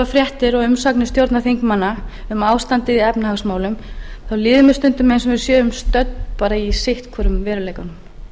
fréttir og umsagnir stjórnarþingmanna um ástandið í efnahagsmálum þá líður mér stundum eins og við séum stödd bara í sitt hvorum veruleikanum